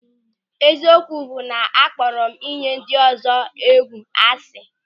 Eziokwu bụ na akpọrọ m inyi ndị ọzọ egwu asị.